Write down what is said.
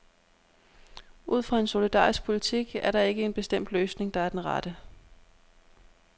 Ud fra en solidarisk politik er der ikke en bestemt løsning, der er den rette.